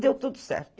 Deu tudo certo.